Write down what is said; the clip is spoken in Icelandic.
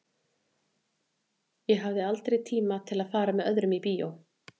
Ég hafði aldrei tíma til að fara með öðrum í bíó.